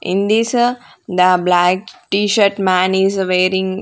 in this the black t-shirt man is wearing--